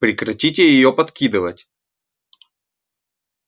прекратите её подкидывать